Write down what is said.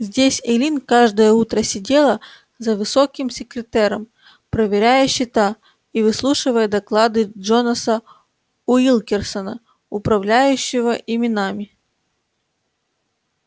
здесь эллин каждое утро сидела за высоким секретером проверяя счета и выслушивая доклады джонаса уилкерсона управляющего именами